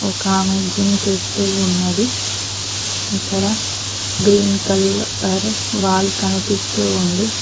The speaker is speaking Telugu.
ఒక ఆమె జిమ్ చేస్తూ ఉన్నది ఇక్కడ గ్రీన్ కలర్ వాల్ కనిపిస్తూ ఉంది